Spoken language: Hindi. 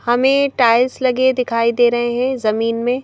हमें टाइल्स लगे दिखाई दे रहे हैं जमीन में--